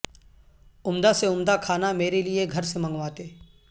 عمدہ سے عمدہ کھانا میرے لئے گھر سے منگواتے